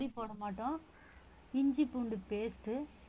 பொடி போட மாட்டோம் இஞ்சி பூண்டு paste உ